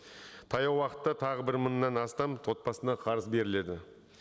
таяу уақытта тағы бір мыңнан астам отбасына қарыз беріледі